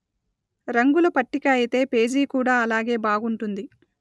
రంగుల పట్టిక అయితే పేజీ కూడా అలాగే బాగుంటుంది